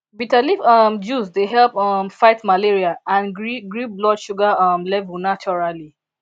bitter leaf um juice dey help um fight malaria and gree gree blood sugar um level naturally